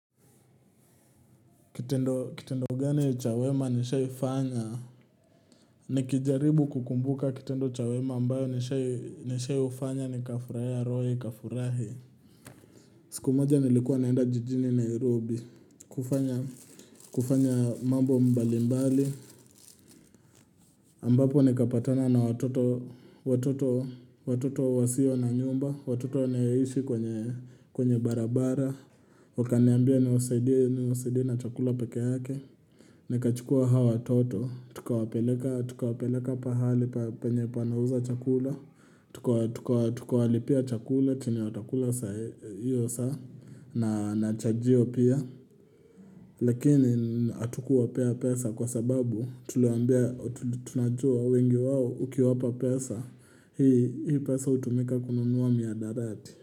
Kitendo gani cha wema nishaifanya nikijaribu kukumbuka kitendo cha wema ambayo nishaifanya nikafurahia roho ikafurahi siku moja nilikuwa naenda jijini Nairobi kufanya kufanya mambo mbalimbali ambapo nikapatana na watoto wasio na nyumba Watoto wanaoishi kwenye barabara Wakaniambia niwasaidie na chakula pekee yake Nikachukua hawa watoto tukawapeleka pahali penye panauza chakula Tukawalipia chakula chenye watakula hio saa na chajio pia lakini hatukuwapea pesa kwa sababu tunajua wengi wao ukiwapa pesa Hii pesa hutumika kununua mihadarati.